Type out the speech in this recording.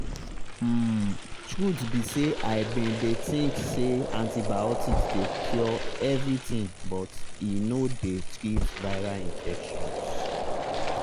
umtruth be say i bin dey think say antibiotics dey cure everything but e no dey treat viral infections.